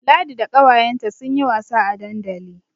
Ladi da ƙawayenta sun yi wasa a dandali.